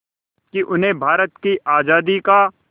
कि उन्हें भारत की आज़ादी का